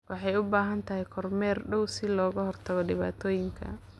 Waxay u baahan tahay kormeer dhow si looga hortago dhibaatooyinka.